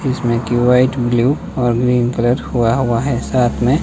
जिसमें की white blue और ग्रीन कलर हुआ हुआ है साथ में--